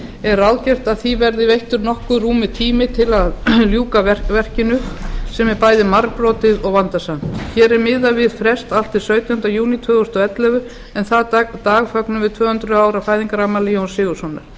er ráðgert að því verði veittur nokkuð rúmur tími til að ljúka verkinu sem er bæði margbrotið og vandasamt hér er miðað við frest allt til sautjánda júní tvö þúsund og ellefu en þann dag fögnum við tvö hundruð ára fæðingarafmæli jóns sigurðssonar